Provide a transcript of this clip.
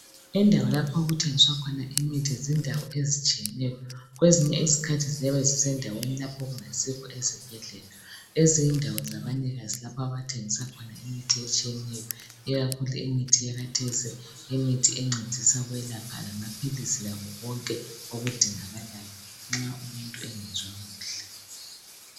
Indawo lapho okuthengiswa khona imithi zindawo ezitshiyeneyo. Kwezinye izikhathi ziyabe zisendaweni lapho okungasikho khona ezibhedlela. Ezinye yindawo zabanikazi lapho abathengisa khona imithi etshiyeneyo ikakhulu imithi yakhathesi imithi encedisa ukwelapha lamaphilisi lakho konke okudingakalayo nxa umuntu engezwa kuhle.